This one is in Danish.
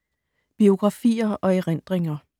Biografier og erindringer